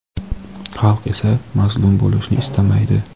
xalq esa mazlum bo‘lishni istamaydi.